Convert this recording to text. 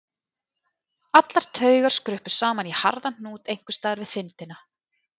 Allar taugar skruppu saman í harðan hnút einhvers staðar við þindina.